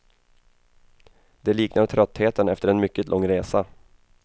Det liknar tröttheten efter en mycket lång resa.